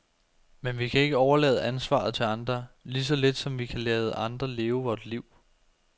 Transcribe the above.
Men vi kan ikke overlade ansvaret til andre, lige så lidt som vi kan lade andre leve vort liv.